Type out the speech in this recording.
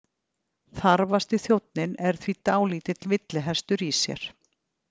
Þarfasti þjónninn er því dálítill villihestur í sér.